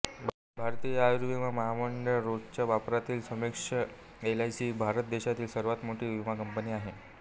भारतीय आयुर्विमा महामंडळ रोजच्या वापरातील संक्षेपः एलआयसी ही भारत देशातील सर्वात मोठी विमा कंपनी आहे